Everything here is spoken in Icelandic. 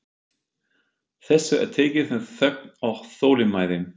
Þessu er tekið með þögn og þolinmæði.